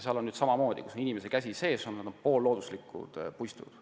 Sellega on nii, et kus inimese käsi sees on olnud, need on poollooduslikud puistud.